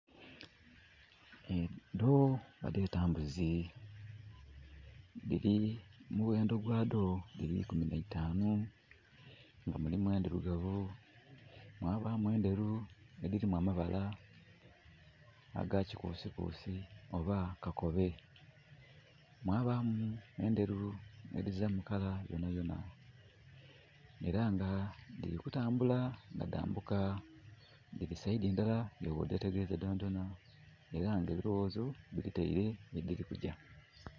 Edho, badeeta mbuzi. Dhiri omughendo gwaadho dhiri ikumi na itanu nga mulimu endhirugavu, mwabaamu enderu edirimu amabala aga kikuusikuusi oba kakobe, mwabaamu enderu edhiziramu kala yonayona, era nga dhiri kutambula nga dhambuka. Dhiri saidi ndala, nga bwodetegereza dhonadhona era nga ebiloghozo bidhitaile gyedhirikugya.